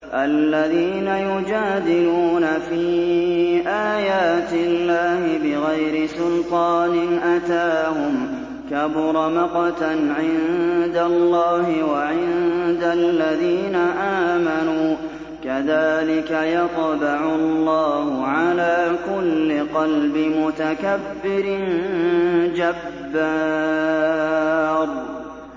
الَّذِينَ يُجَادِلُونَ فِي آيَاتِ اللَّهِ بِغَيْرِ سُلْطَانٍ أَتَاهُمْ ۖ كَبُرَ مَقْتًا عِندَ اللَّهِ وَعِندَ الَّذِينَ آمَنُوا ۚ كَذَٰلِكَ يَطْبَعُ اللَّهُ عَلَىٰ كُلِّ قَلْبِ مُتَكَبِّرٍ جَبَّارٍ